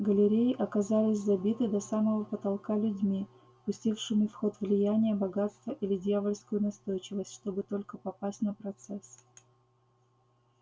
галереи оказались забиты до самого потолка людьми пустившими в ход влияние богатство или дьявольскую настойчивость чтобы только попасть на процесс